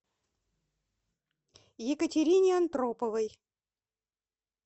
екатерине антроповой